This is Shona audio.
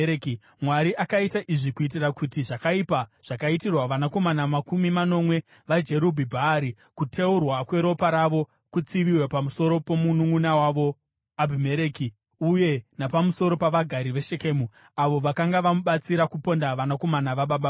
Mwari akaita izvi kuitira kuti zvakaipa zvakaitirwa vanakomana makumi manomwe vaJerubhi-Bhaari, kuteurwa kweropa ravo, kutsiviwe pamusoro pomununʼuna wavo Abhimereki uye napamusoro pavagari veShekemu, avo vakanga vamubatsira kuponda vanakomana vababa vake.